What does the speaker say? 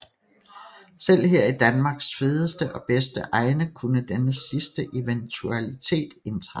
Selv her i Danmarks fedeste og bedste egne kunne denne sidste eventualitet indtræffe